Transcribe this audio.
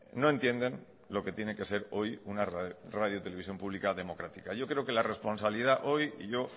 no entienden lo que tiene que ser hoy una radio televisión pública democrática yo creo que la responsabilidad hoy y yo